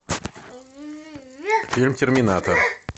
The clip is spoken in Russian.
фильм терминатор